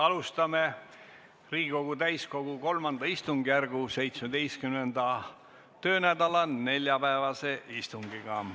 Alustame Riigikogu täiskogu kolmanda istungjärgu 17. töönädala neljapäevast istungit.